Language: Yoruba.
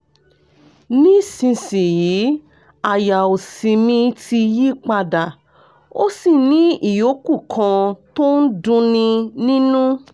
nísinsìnyí àyà òsì mi ti yí padà ó sì ní ìyókù kan tó ń dunni nínú